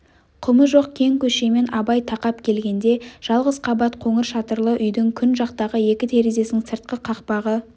құмы жоқ кең көшемен абай тақап келгенде жалғыз қабат қоңыр шатырлы үйдің күн жақтағы екі терезесінің сыртқы қақпағы